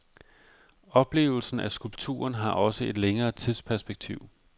Oplevelsen af skulpturen har også et længere tidsperspektiv.